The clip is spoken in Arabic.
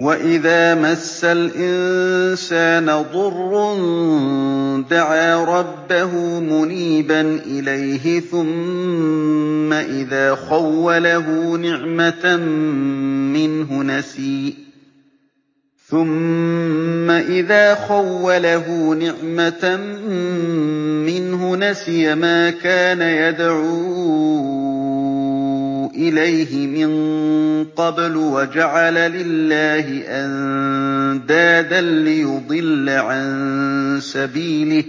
۞ وَإِذَا مَسَّ الْإِنسَانَ ضُرٌّ دَعَا رَبَّهُ مُنِيبًا إِلَيْهِ ثُمَّ إِذَا خَوَّلَهُ نِعْمَةً مِّنْهُ نَسِيَ مَا كَانَ يَدْعُو إِلَيْهِ مِن قَبْلُ وَجَعَلَ لِلَّهِ أَندَادًا لِّيُضِلَّ عَن سَبِيلِهِ ۚ